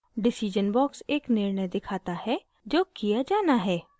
decision box एक निर्णय दिखाता है जो किया जाना है